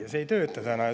Aga see ei tööta täna.